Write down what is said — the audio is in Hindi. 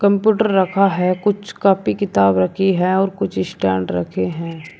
कंप्यूटर रखा है कुछ कॉपी किताब रखी है और कुछ स्टैंड रखे हैं।